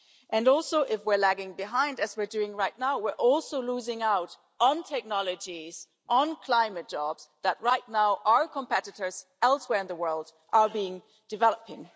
And also, if we're lagging behind, as we're doing right now, we're also losing out on technologies, on climate jobs that, right now, our competitors elsewhere in the world are developing.